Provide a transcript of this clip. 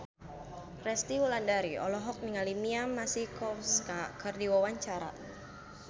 Resty Wulandari olohok ningali Mia Masikowska keur diwawancara